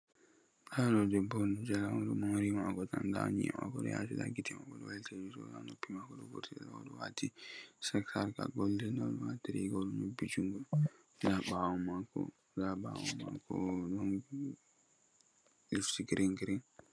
Ndaa ɗo debbo on, o ɗo moori maako jala. Ndaa ƴi'e maako haa yaasi, gite maako ɗo wayliti ,yeri ɗo haa noppi maako.O ɗo waɗi sarka goldin haa ndaande maako.O ɗo waati riigawol ƴobbi junngo, haa ɓaawo maako ɗon haakooji girin girin.